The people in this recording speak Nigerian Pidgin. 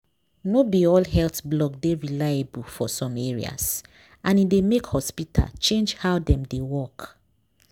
no be all health blog dey reliable for some areas and e dey make hospital change how dem dey work.